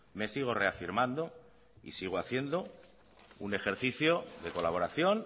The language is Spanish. me sigo reafirmando y sigo haciendo un ejercicio de colaboración